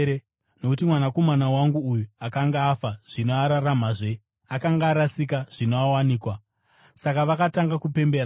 Nokuti mwanakomana wangu uyu akanga afa, zvino araramazve; akanga arasika, zvino awanikwa.’ Saka vakatanga kupembera.